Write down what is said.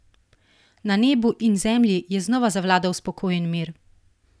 Na nebu in zemlji je znova zavladal spokojen mir!